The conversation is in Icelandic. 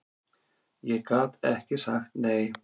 Ég gat ekki sagt nei.